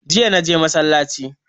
Jiya naje masallaci